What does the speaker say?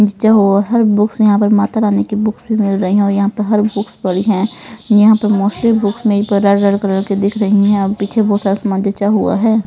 जो हर बुक्स यहां पर माता रानी की बुक्स भी मिल रही है और यहां पर हर बुक्स पड़ी है यहां पर मोस्टली बुक्स में पर रेड रेड कलर की दिख रही है पीछे बहुत सारा सामान जचा हुआ है।